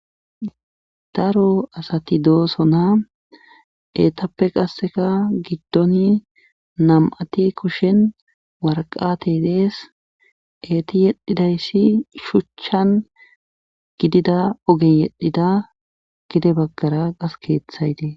Daro asati dooso naa etappe qasseka giddoni nam7ati kushen warqate dees eeti yedhidayssi shuchchan gidida ogen yedhida gide baggara qas keeththaytee.